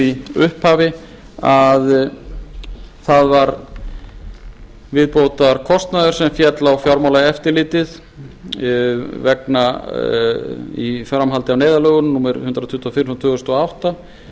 í upphafi að það var viðbótarkostnaður sem féll á fjármálaeftirlitið í framhaldi af neyðarlögunum númer hundrað tuttugu og fimm tvö þúsund og átta